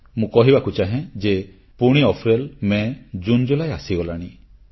ମୁଁ କହିବାକୁ ଚାହେଁ ଯେ ପୁଣି ଅପ୍ରେଲ ମେ ଜୁନ ଜୁଲାଇ ଆସିଗଲାଣି